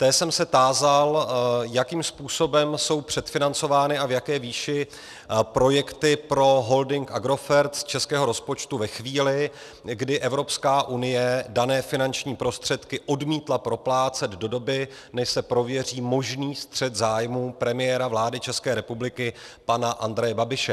Té jsem se tázal, jakým způsobem jsou předfinancovány a v jaké výši projekty pro holding Agrofert z českého rozpočtu ve chvíli, kdy Evropská unie dané finanční prostředky odmítla proplácet do doby, než se prověří možný střet zájmů premiéra vlády České republiky pana Andreje Babiše.